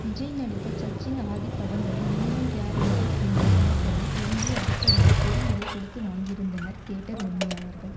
விஜய் நடித்த சச்சின் ஆதி படங்களை minimum guarantee என்று சொல்ல படும் எம்ஜி அடிப்படையில் பெரும் விலை கொடுத்து வாங்கியிருந்தனர் தியேட்டர் உரிமையாளர்கள்